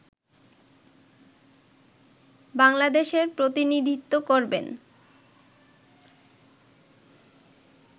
বাংলাদেশের প্রতিনিধিত্ব করবেন